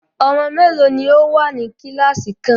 Ọmọ mélòó ní o wá ní kíláàsì kan?